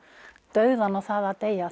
dauðann og það að deyja